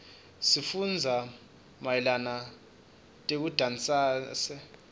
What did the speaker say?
sifundza tmydlela teku dansase tesintfu